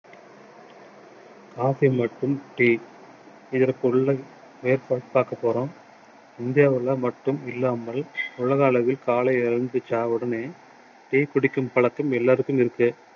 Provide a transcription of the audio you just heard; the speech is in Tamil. coffee மற்றும் tea இதற்குள்ள மேற்கொள் பார்க்க போறோம் இந்தியாவுல மட்டும் இல்லாமல் உலக அளவில் காலை எழுந்திரிச்ச உடனே tea குடிக்கும் பழக்கம் எல்லாருக்கும் இருக்கு